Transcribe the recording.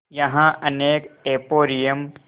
यहाँ अनेक एंपोरियम